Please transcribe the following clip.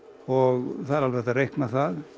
og það er alveg hægt að reikna það